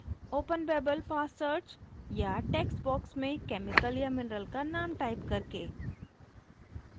openbabel fastsearch या text box में chemical या mineral का name type करके